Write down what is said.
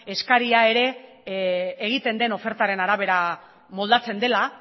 eskaria ere egiten den ofertaren arabera moldatzen dela